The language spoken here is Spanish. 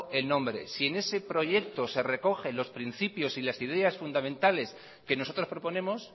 el nombre si en ese proyecto se recogen los principios y las ideas fundamentales que nosotros proponemos